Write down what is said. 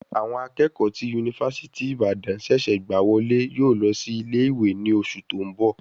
Àwọn akẹ́kọ̀ọ́ tí yunifásítì Ìbàdàn ṣẹ̀ṣẹ̀ gbà wọlé yóò lọ sí ilé ìwé ní oṣù tó ń bọ̀.